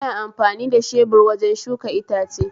Ana amfani da shebur wajen shuka itace